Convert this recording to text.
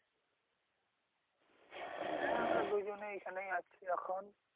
হ্যাঁ আমরা দুজনেই এখানেই আছি এখন।